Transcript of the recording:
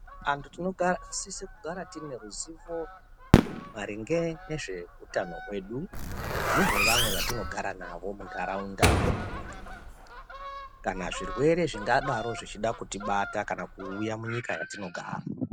Antu tinosise kugara tineruzivo maringe nezveutano hwedu nehwevamwe vatinogara navo munharaunda kana zvirwere zvingadaro kuda kutibata kana kuuya munyika yatinogara.